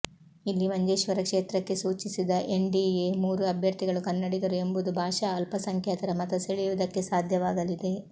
ಇಲ್ಲಿ ಮಂಜೇಶ್ವರ ಕ್ಷೇತ್ರಕ್ಕೆ ಸೂಚಿಸಿದ ಎನ್ಡಿಎ ಮೂರು ಅಭ್ಯರ್ಥಿಗಳು ಕನ್ನಡಿಗರು ಎಂಬುದು ಭಾಷಾ ಅಲ್ಪಸಂಖ್ಯಾತರ ಮತ ಸೆಳೆಯುವುದಕ್ಕೆ ಸಾಧ್ಯವಾಗಲಿದೆ